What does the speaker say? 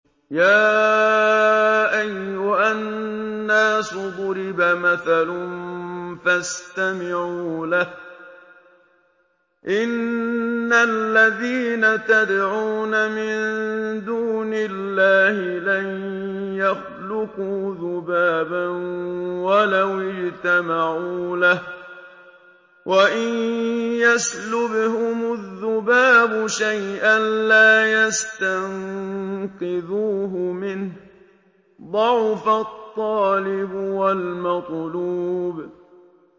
يَا أَيُّهَا النَّاسُ ضُرِبَ مَثَلٌ فَاسْتَمِعُوا لَهُ ۚ إِنَّ الَّذِينَ تَدْعُونَ مِن دُونِ اللَّهِ لَن يَخْلُقُوا ذُبَابًا وَلَوِ اجْتَمَعُوا لَهُ ۖ وَإِن يَسْلُبْهُمُ الذُّبَابُ شَيْئًا لَّا يَسْتَنقِذُوهُ مِنْهُ ۚ ضَعُفَ الطَّالِبُ وَالْمَطْلُوبُ